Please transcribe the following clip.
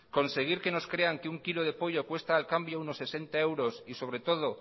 conseguir que nos crean que un kilo de pollo cuesta al cambio unos sesenta euros y sobre todo